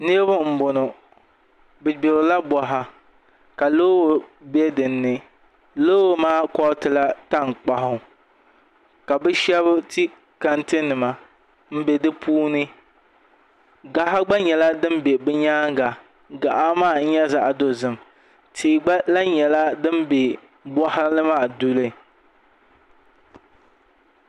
Niraba n boŋo bi gbirila boɣa ka loori bɛ dinni loori maa koritila tankpaɣu ka bi shab ti tanti nima n bɛ di puuni gaɣa gba nyɛla din bɛ bi nyaanga gaɣa maa n nyɛ zaɣ dozim tia gba lahi nyɛla din bɛ boɣali maa duli